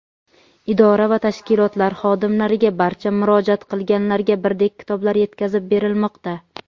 idora va tashkilotlar xodimlariga — barcha murojaat qilganlarga birdek kitoblar yetkazib berilmoqda.